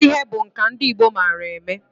Ịkpụ ihe bụ nka ndị Igbo mara eme.